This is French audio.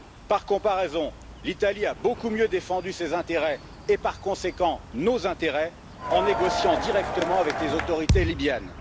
Par comparaison, l'Italie a beaucoup mieux défendu ses intérêts et, par conséquent, nos intérêts en négociant directement avec les autorités libyennes.